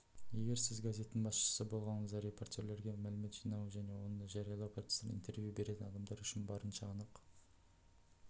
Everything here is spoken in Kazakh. егер сіз газеттің басшысы болғаныңызда репортерлерге мәлімет жинау және оны жариялау процестерін интервью беретін адамдар үшін барынша анық